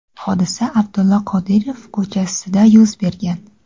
Hodisa Abdulla Qodiriy ko‘chasida yuz bergan.